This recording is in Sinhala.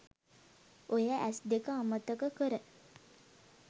ඔය ඇස් දෙක අමතක කර